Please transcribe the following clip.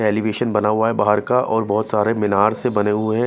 Elevation बना हुआ है बाहर का और बहुत सारे मीनार से बने हुए हैं।